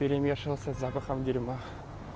перемешано с запахом дерьма